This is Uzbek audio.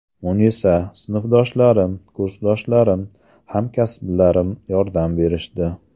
Munisa: Sinfdoshlarim, kursdoshlarim, hamkasblarim yordam berishdi.